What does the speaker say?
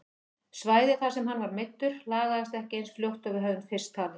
Svæðið þar sem hann var meiddur lagaðist ekki eins fljótt og við höfðum fyrst talið.